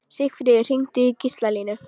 Sigfríð, hringdu í Gíslalínu.